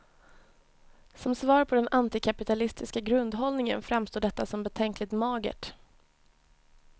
Som svar på den antikapitalistiska grundhållningen framstår detta som betänkligt magert.